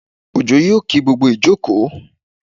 Òjó yóò kí gbogbo ìjókòó